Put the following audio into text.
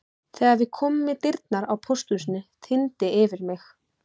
Þegar við komum í dyrnar á pósthúsinu þyrmdi yfir mig.